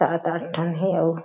सात आठ ठन हे अउ--